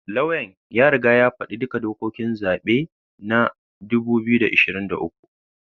Lauyan ya riga ya faɗi duka dokokin zaben na 2023